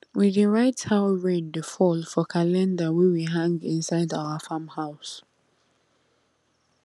we dey write how rain dey fall for calendar wey we hang inside our farm house